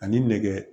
Ani nɛgɛ